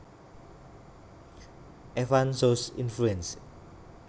Enfants sous influence